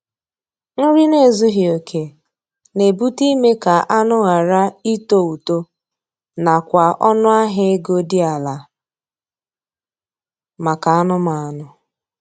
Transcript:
Nri n'ezughi oke na-ebute ime ka anụ ghara ịtọ ụtọ na kwa ọnụ ahịa ego dị ala maka anụmanụ.